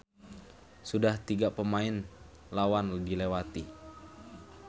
Sudah tiga pemain lawan dilewati.